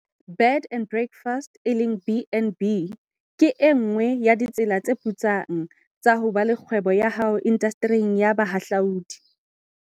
Bed and breakfast, BnB, ke e nngwe ya ditsela tse putsang tsa ho ba le kgwebo ya hao indastering ya bohahlaudi.